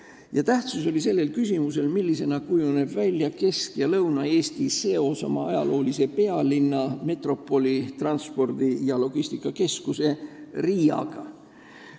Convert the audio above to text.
Ja tähtis on küsimus, milliseks kujuneb Kesk- ja Lõuna-Eesti seos oma ajaloolise pealinna, metropoli, transpordi- ja logistikakeskuse Riiaga.